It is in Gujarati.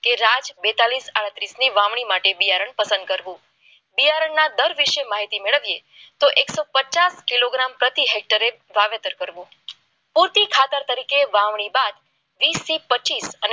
આડત્રીસ ન્યુ વાવણી માટે બિયારણ શંકર માહિતી માટે એકસો પચાસ કિલોગ્રામ પ્રતિ ફેક્ટરી વાવેતર કરવું મોટી ખાતર તરીકે વાવેતર વાવણી બાદ વીસ થી પચીસ